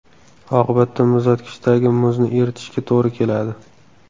Oqibatda muzlatkichdagi muzni eritishga to‘g‘ri keladi.